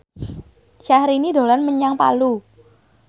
Syaharani dolan menyang Palu